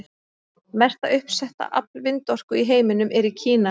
Mesta uppsetta afl vindorku í heiminum er í Kína.